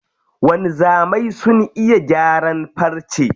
Wanzamai sun iya gyaran farce.